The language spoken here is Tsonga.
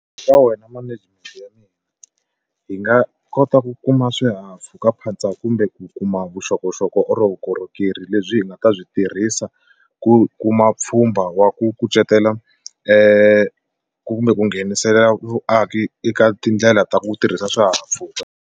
Ka wena management ya mina hi nga kota ku kuma swihahampfhukaphatsa kumbe ku kuma vuxokoxoko or vukorhokeri lebyi hi nga ta byi tirhisa ku kuma pfhumba wa ku kucetela e kumbe ku nghenisela vuaki eka tindlela ta ku tirhisa swihahampfhuka.